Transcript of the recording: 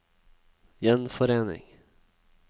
gjenforening